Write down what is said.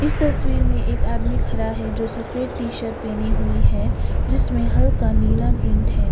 इस तस्वीर में एक आदमी खड़ा है जो सफेद टी शर्ट पहने हुई है जिसमें हल्का नीला प्रिंट है।